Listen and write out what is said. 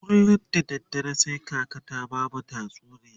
kullum da dare sai kaka ta bamu tatsuniya